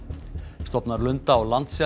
stofnar lunda og